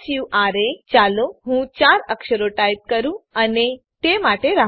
સુરા ચાલો હું ૪ અક્ષરો ટાઈપ કરું અને તે માટે રાહ જોઉં